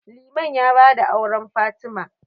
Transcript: Liman ya ba da auren Fatima.